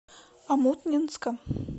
омутнинска